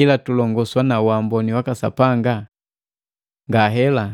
ila tulongoswa na waamboni waka Sapanga? Ngahela!